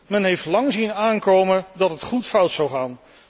Men heeft lang zien aankomen dat het goed fout zou gaan.